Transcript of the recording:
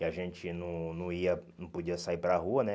E a gente não não ia não podia sair para rua, né?